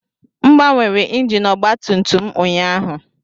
M gbanwere injin ọgba tum tum m ụnyaahụ